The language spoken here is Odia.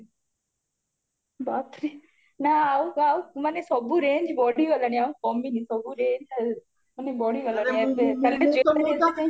ବାପରେ ଆଉ ଆଉ ସବୁ range ବଢିଗଲାଣି ଆଉ କମିନି ସବୁ range ବଢିଗଲାଣି ଏବେ ଏବେ jewelry